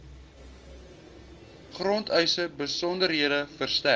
grondeise besonderhede verstrek